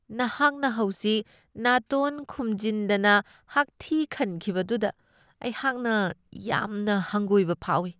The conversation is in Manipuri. ꯅꯍꯥꯛꯅ ꯍꯧꯖꯤꯛ ꯅꯥꯇꯣꯟ ꯈꯨꯝꯖꯤꯟꯗꯅ ꯍꯥꯛꯊꯤ ꯈꯟꯈꯤꯕꯗꯨꯗ ꯑꯩꯍꯥꯛꯅ ꯌꯥꯝꯅ ꯍꯪꯒꯣꯏꯕ ꯐꯥꯎꯢ ꯫